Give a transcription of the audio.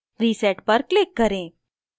reset पर click करें